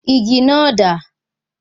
Igi náà dà?